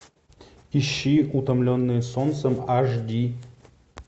ищи утомленные солнцем аш ди